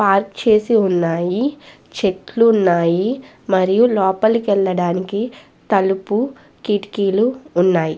Park చేసి ఉన్నాయి చెట్లు ఉన్నాయి మరియు లోపలికి వెళ్ళడానికి తలుపు కిటికీలు ఉన్నాయి.